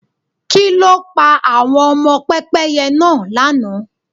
Kí ló pa àwọn ọmọ Pẹ́pẹ́yẹ náà lànà?